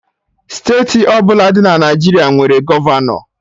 Steeti ọbụla dị na Naijiria nwere gọvanọ